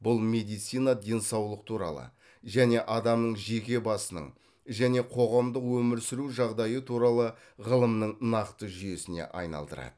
бұл медицина денсаулық туралы және адамның жеке басының және қоғамдық өмір сүру жағдайы туралы ғылымның нақты жүйесіне айналдырады